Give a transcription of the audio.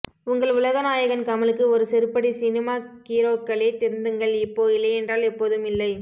உங்கள் உலக நாயகன் கமலுக்கு ஒரு செருப்படி சினிமா கீரோக்களே திருந்துங்கள் இப்போ இல்லையென்றால் எப்போதும் இல்லை